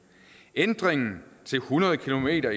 ændringen til hundrede kilometer